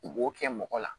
U b'o kɛ mɔgɔ la